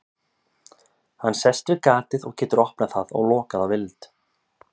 hann sest við gatið og getur opnað það og lokað að vild